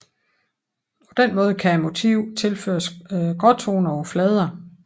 På den måde kan motivet tilføres gråtoner på flader